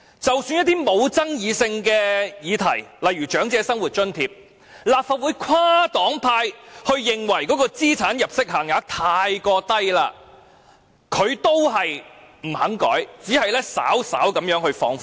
即使是一些沒有爭議性的議題，例如長者生活津貼，雖然立法會跨黨派均認為所訂定的資產入息限額太低，但他依然不肯修改，只肯稍為放寬。